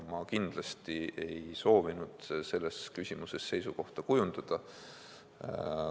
Ma kindlasti ei ole soovinud selles küsimuses seisukohta kujundada.